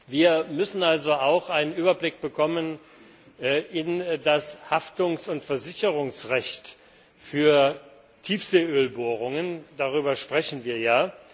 Wir müssen also auch einen Überblick bekommen über das Haftungs und Versicherungsrecht für Tiefseeölbohrungen, darüber sprechen wir ja.